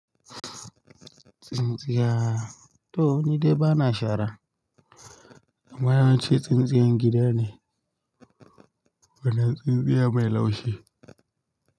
Tsintsiya, to nide bana shara, amma yawanci tsintsiyar gida ne, bana tsintsiyar mai laushi.